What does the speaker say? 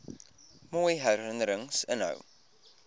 mooi herinnerings inhou